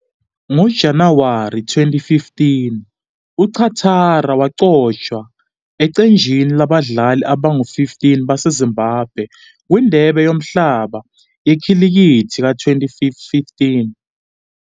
NgoJanuwari 2015, uChatara waqokwa eqenjini labadlali abangu-15 baseZimbabwe kwiNdebe Yomhlaba Yekhilikithi ka-2015.